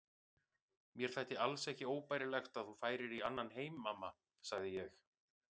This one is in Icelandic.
Mér þætti alls ekki óbærilegt að þú færir í annan heim mamma, sagði ég.